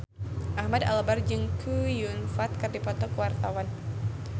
Ahmad Albar jeung Chow Yun Fat keur dipoto ku wartawan